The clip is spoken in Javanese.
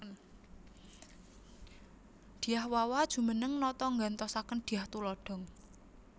Dyah Wawa jumeneng nata nggantosaken Dyah Tulodhong